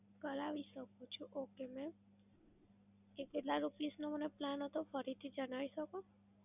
કરાવી શકું છું okay mam. એ કેટલા rupees નો મને plan હતો ફરી થી જણાવી શકો?